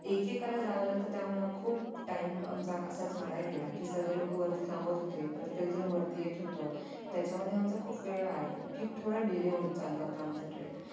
ऐक एकेला जावं लागत त्यामुळे खूप time आमचा असाच वाया गेला कि सगळे लोक वरती थांबत होते प्रत्येक जण वरती येत होत त्याच्या मध्ये आमचा खूप वेळ वाया गेला कि थोडं delay होत चाल हो आमचा treck